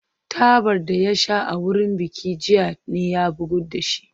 Tabar da ya sha a wurin bikin jiya ne ya bugu da shi